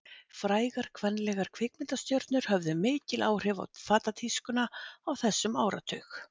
Frægar kvenlegar kvikmyndastjörnur höfðu mikil áhrif á fatatískuna á þessum áratug.